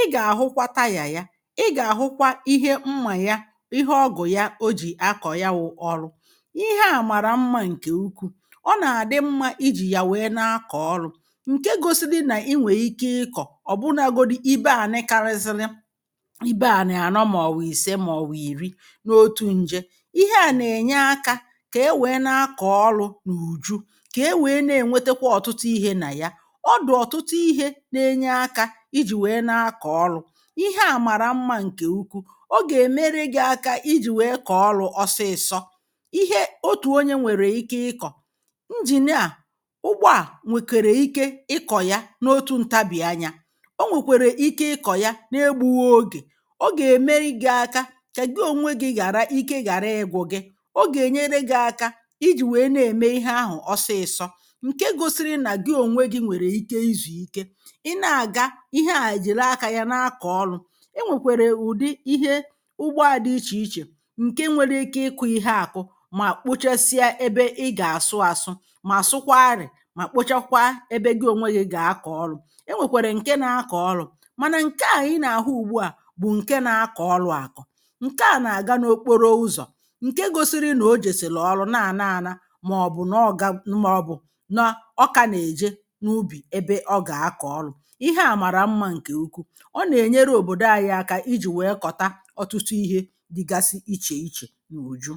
i ga-ahụkwa taya ya i ga-ahụkwa ihe mma ya ihe ọgụ̀ ya ọ jì akọ̀ ya wụ̇ ọlụ̇ ihe a mara mma nke ụkwụ ọ na-adị mma ijì ya wee na-akọ̀ ọlụ̇ nke gọsi dị na i nwee ike ịkọ̀ ọ̀bụnagọdi ibe ani karịsịrị ibe ani anọ ma ọ̀wụ̀ ìse ma ọ̀wụ̀ ìri n’ọtụ nje ihe a na-enye aka ka e wee na-akọ ọlụ na ụjụ ka ewee na-enwetekwa ọ̀tụtụ ihe na ya ọdụ̀ ọ̀tụtụ ihe na-enye aka ijì wee na-akọ̀ ọlụ̇ ihe a mara mma nke ụkwụ ọ ga-emere gị aka ijì wee kọ̀ọ ọlụ̇ ọsị̀sọ ihe ọtù ọnye nwere ike ịkọ̀ njìn a, ụgbọ a nwekwere ike ịkọ̀ ya n’ọtụ ntabìanya ọ nwekwere ike ịkọ̀ ya n’egbụghọ ọge ọ ga-emere gị̇ aka ka gị ọ̀nwe gị gara ike gara ịgwụ̇, ọ ga enyere gi aka iji wee na eme ihe ahụ ọsị̀sọ nke gọsiri na gị ọ̀nwe gị nwere ike izù ike i na-aga ihe a jili aka ya na-akọ̀ ọlụ̇ e nwekwere ùdi ihe ụgbọ a dị̇ iche iche nke nwere ike ịkụ̇ ihe akụ ma kpọchesịa ebe ị ga-asụ asụ ma asụkwa arị̀ ma kpọchakwa ebe gị ọ̀nwe gị ga-akọ̀ ọlụ̇ e nwekwere nke na-akọ̀ ọlụ̇ mana nke a i na-ahụ ùgbụ a bụ̀ nke na-akọ̀ ọlụ̇ akọ nke a na-aga n’ọkpọrọ ụzọ̀ nke gọsiri na ọ jesili ọlụ na ana ana maọbụ na oga maọbụ na ọ ka na-eje n’ụbì ebe ọ ga-akọ ọlụ̇ ihe a mara mma nke ụkwụụ ọ na-enyere ọ̀bọ̀dọ̀ ayị aka iji wee kọta ọtụtụ ihe dịgasị iche iche n’ụjụ